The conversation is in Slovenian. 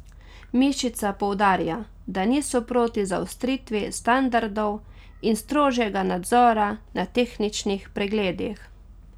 Mišica poudarja, da niso proti zaostritvi standardov in strožjega nadzora na tehničnih pregledih.